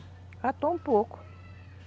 Catou um pouco.